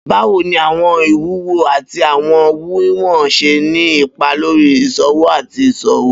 Bawo ni awọn iwuwo ati awọn wiwọn ṣe ni ipa lori iṣowo ati iṣowo?